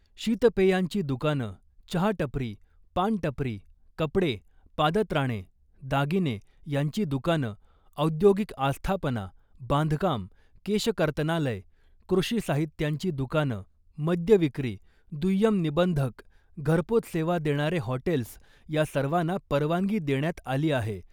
शीतपेयांची दुकानं , चहा टपरी , पान टपरी , कपडे , पादत्राणे , दागिने यांची दुकानं , औद्योगिक आस्थापना , बांधकाम , केशकर्तनालय , कृषी साहित्यांची दुकानं , मद्य विक्री , दुय्यम निबंधक , घरपोच सेवा देणारे हॉटेल्स या सर्वांना परवानगी देण्यात आली आहे .